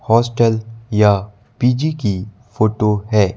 Hostel या PG की photo है।